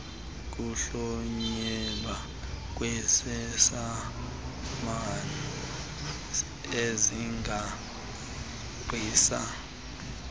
kuhlonyelwa kwiisamani eziqalisa